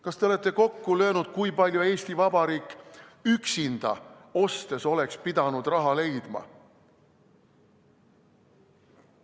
Kas te olete kokku löönud, kui palju Eesti Vabariik üksinda ostes oleks pidanud raha leidma?